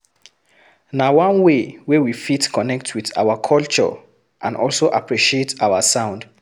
Na one way wey we fit connect with our culture and also appreciate our sound